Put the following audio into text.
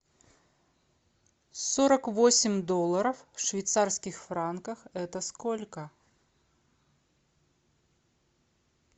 сорок восемь долларов в швейцарских франках это сколько